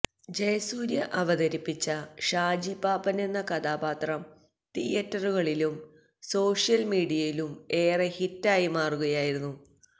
ജയസൂരൃ അവതരിപ്പിച്ച ഷാജിപാപ്പനെന്ന കഥാപാത്രം തിയേറ്ററുകളിലും സോഷൃല്മീഡിയയിലും ഏറെ ഹിറ്റായി മാറുകയായിരുന്നു